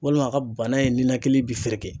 Walima a ka bana ninakili bi fereke